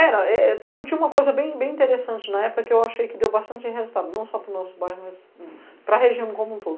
Era, tinha uma coisa bem interessante na época que eu achei que deu bastante resultado, não só para o nosso bairro, mas para a região como um todo.